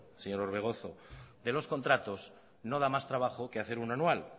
señor orbegozo de los contratos no da más trabajo que hacer uno anual